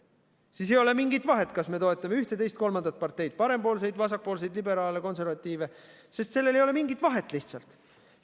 Siis ei ole mingit vahet, kas me toetame ühte, teist või kolmandat parteid, parempoolseid, vasakpoolseid, liberaale või konservatiive, sest sellel ei ole mingit vahet lihtsalt.